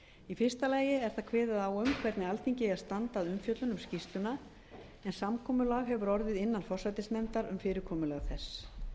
í fyrsta lagi er þar kveðið á um hvernig alþingi eigi að standa að umfjöllun um skýrsluna en samkomulag hefur orðið innan forsætisnefndar um fyrirkomulag þess